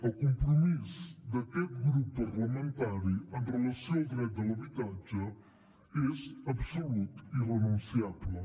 el compromís d’aquest grup parlamentari amb relació al dret de l’habitatge és absolut i irrenunciable